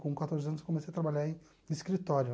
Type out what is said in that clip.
Com quatorze anos, comecei a trabalhar em escritório.